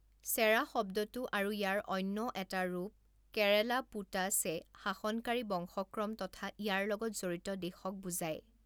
চেৰা শব্দটো আৰু ইয়াৰ অন্য এটা ৰূপ কেৰালাপুটাসএ শাসনকাৰী বংশক্ৰম তথা ইয়াৰ লগত জড়িত দেশক বুজায়।